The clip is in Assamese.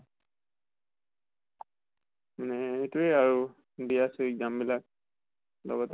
নে এইটোয়ে আৰু, দি আছো exam বিলাক। লগতে